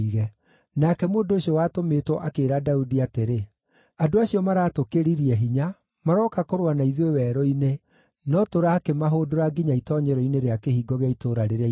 Nake mũndũ ũcio watũmĩtwo akĩĩra Daudi atĩrĩ, “Andũ acio maratũkĩririe hinya, marooka kũrũa na ithuĩ werũ-inĩ, no tũrakĩmahũndũra nginya itoonyero-inĩ rĩa kĩhingo gĩa itũũra rĩrĩa inene.